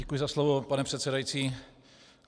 Děkuji za slovo, pane předsedající.